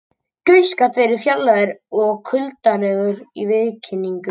Gauss gat verið fjarlægur og kuldalegur í viðkynningu.